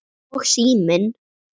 Og síminn.